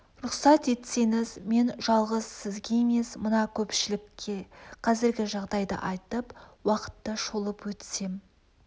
рұқсат етсеңіз мен жалғыз сізге емес мына көпшілікке қазіргі жағдайды айтып уақытты шолып өтсем